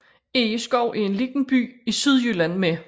Egeskov er en lille by i Sydjylland med